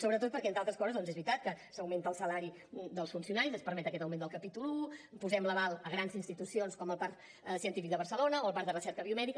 sobretot perquè entre altres coses doncs és veritat que s’augmenta el salari dels funcionaris es permet aquest augment del capítol un posem l’aval a grans institucions com el parc científic de barcelona o el parc de recerca biomèdica